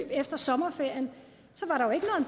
efter sommerferien